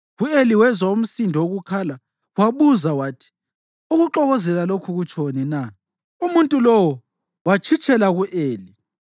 U-Eli wezwa umsindo wokukhala wabuza wathi, “Ukuxokozela lokhu kutshoni na?” Umuntu lowo watshitshela ku-Eli,